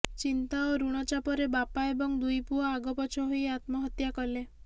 ଚିନ୍ତା ଓ ଋଣ ଚାପରେ ବାପା ଏବଂ ଦୁଇପୁଅ ଆଗପଛ ହୋଇ ଆତ୍ମହତ୍ୟା କଲେ